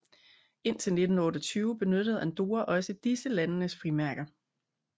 Indtil 1928 benyttede Andorra også disse landenes frimærker